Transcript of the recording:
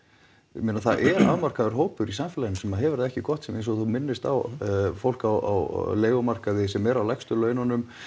ég meina það er afmarkaður hópur í samfélaginu sem hefur það ekki gott eins og þú minnist á fólk á leigumarkaði sem er á lægstu laununum